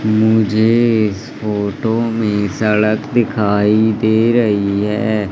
मुझे इस फोटो में सड़क दिखाई दे रही है।